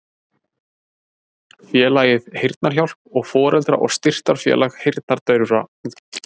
Félagið Heyrnarhjálp og Foreldra- og styrktarfélag heyrnardaufra